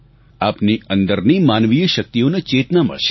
આપની અંદરની માનવીય શક્તિઓને ચેતના મળશે